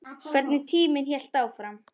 Hvernig tíminn hélt áfram.